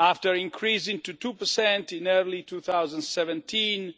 After increasing to 2 in early 2017